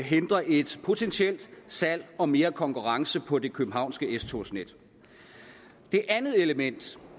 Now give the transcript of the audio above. hindrer et potentielt salg og mere konkurrence på det københavnske s togsnet det andet element